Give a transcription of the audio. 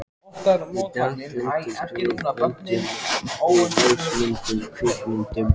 Í dag geymumst við á böndum, ljósmyndum, kvikmyndum.